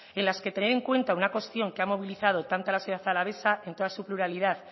en las que tener en cuenta una cuestión que ha movilizado tanto a la ciudad alavesa en toda su pluralidad